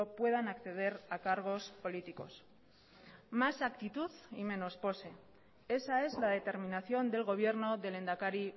puedan acceder a cargos políticos más actitud y menos pose esa es la determinación del gobierno del lehendakari